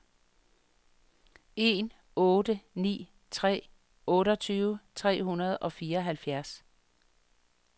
en otte ni tre otteogtyve tre hundrede og fireoghalvfjerds